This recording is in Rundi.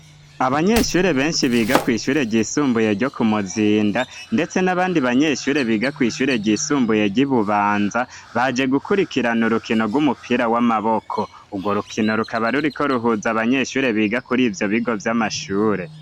Abanyeshure benshi biga kw'ishure ryisumbuye ryo ku muzinda, ndetse n'abandi banyeshure biga kw'ishure ryisumbuye ryibubanza baje gukurikirana urukino rw'umupira w'amaboko urwo rukino rukaba ruriko ruhuza abanyeshure biga kuri ivyo bigo vy'amashure.